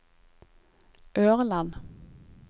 Ørland